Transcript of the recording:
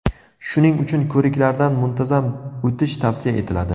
Shuning uchun ko‘riklardan muntazam o‘tish tavsiya etiladi.